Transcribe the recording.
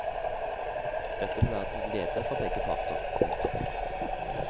Det vil være til glede for begge parter. punktum